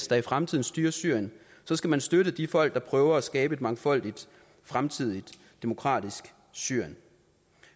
der i fremtiden styrer syrien så skal man støtte de folk der prøver at skabe et mangfoldigt fremtidigt demokratisk syrien